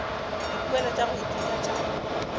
dipoelo tša go ithuta tša